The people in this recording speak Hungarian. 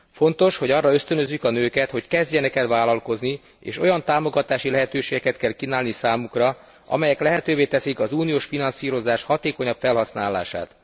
Fontos, hogy arra ösztönözzük a nőket, hogy kezdjenek el vállalkozni, és olyan támogatási lehetőségeket kell kínálni számukra, amelyek lehetővé teszik az uniós finanszírozás hatékonyabb felhasználását.